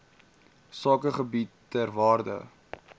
sakegebiede ter waarde